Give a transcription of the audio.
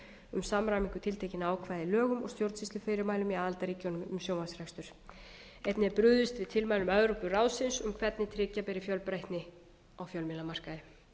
um samræmingu tiltekinna ákvæða í lögum og stjórnsýslufyrirmælum í aðildarríkjunum um sjónvarpsrekstur einnig er brugðist við tilmælum evrópuráðsins um hvernig tryggja beri fjölbreytni á fjölmiðlamarkaði ég legg